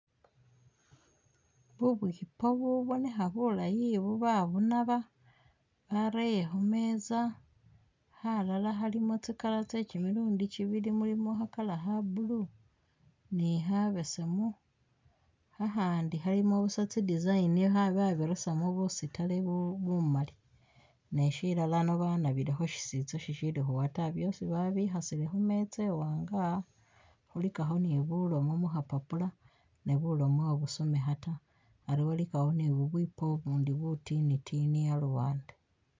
Bubwipo bubonekha bulaayi obu babunaba bareye khumeza khalala khalimo tsi'color tse kimilundi kibili mulimo kha'colour kha blue ni khabesemu akhandi khilimo busa tsi'design babirisimo busitari bumaali neshilalano banabilekho shisitsa shikhali khuwa taa byosi babikhasile khumuza iwanga ilikakho ni bulimo mukhapapula be bulome ibusomekha taa Ali walikawo ni bubupo ubundi butinitini aluwande